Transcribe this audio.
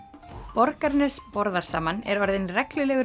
Borgarnes borðar saman er orðinn reglulegur